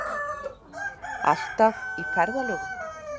Alltaf í ferðalögum.